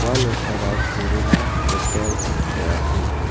ua nokara kerela hotel ong·achim.